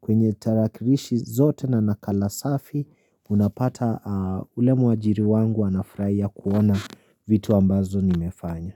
kwenye tarakirishi zote na nakala safi unapata ule mwajiri wangu anafuraia kuona vitu ambazo nimefanya.